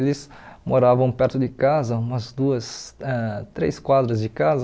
Eles moravam perto de casa, umas duas, ãh três quadras de casa.